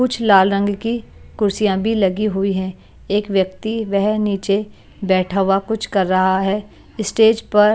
कुछ लाल रंग की कुर्सियां भी लगी हुई हैं एक व्यक्ति वह नीचे बैठा हुआ कुछ कर रहा है। स्टेज पर --